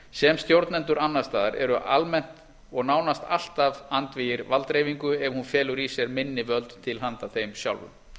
sem stjórnendur annars staðar eru almennt og nánast alltaf andvígir valddreifingu ef hún felur í sér minni völd til handa þeim sjálfum